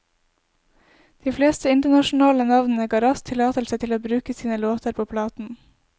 De fleste internasjonale navnene ga raskt tillatelse til å bruke sine låter på platen.